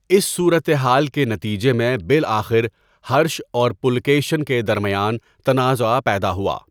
اس صورتحال کے نتیجے میں بالآخر ہرش اور پُلکیشن کے درمیان تنازعہ پیدا ہوا۔